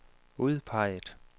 udpeget